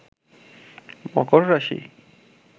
মকর রাশি